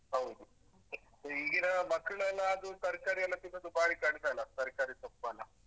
ಹೌದು ಮತ್ತೆ ಈಗಿನ ಮಕ್ಕ್ಳೆಲ್ಲಾ ಅದು ತರ್ಕಾರಿ ಎಲ್ಲಾ ತಿನ್ನುದು ಬಾರಿ ಕಡಿಮೆ ಅಲ ತರ್ಕಾರಿ ಸೊಪ್ಪೆಲ್ಲಾ.